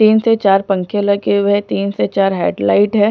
तीन से चार पंखे लगे हुए हैं तीन से चार हेडलाइट है।